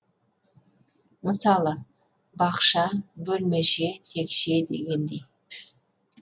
мысалы бақша бөлмеше текше дегендей